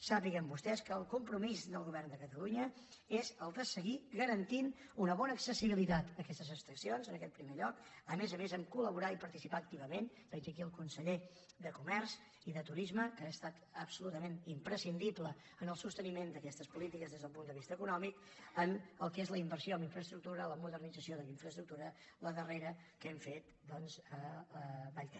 sàpiguen vostès que el compromís del govern de catalunya és el de seguir garantint una bona accessibilitat a aquestes estacions en aquest primer lloc a més a més de colel conseller de comerç i de turisme que ha estat absolutament imprescindible en el sosteniment d’aquestes polítiques des del punt de vista econòmic en el que és la inversió en infraestructura la modernització de la infraestructura la darrera que hem fet doncs a vallter